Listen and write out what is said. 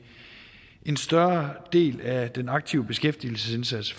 en større del af den aktive beskæftigelsesindsats